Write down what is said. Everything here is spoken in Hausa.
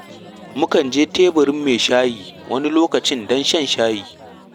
Mu kan je teburin mai shayi wani lokacin don shan shayi.